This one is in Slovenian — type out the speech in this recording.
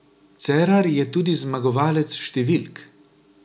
Cerar je tudi zmagovalec številk.